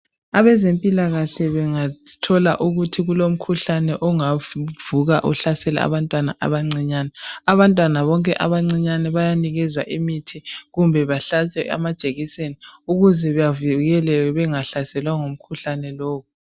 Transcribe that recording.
Abezempilakahle bengathola ukuthi kulomkhuhlane ongavuka uhlasele abantwana abancinyane abantwana bonke abancinyane bayanikezwa imithi kumbe bahlatshwe amajekiseni ukuze bavikeleke bengahlaselwa ngumkhuhlane lowu.